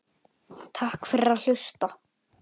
Takk fyrir að hlusta.